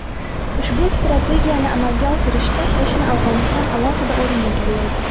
Ushbu strategiyani amalga oshirishda qo‘shni Afg‘oniston alohida o‘rin egallaydi.